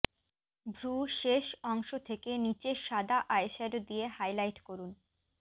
ভ্রু শেষ অংশ থেকে নিচে সাদা আইশ্যাডো দিয়ে হাইলাইট করুন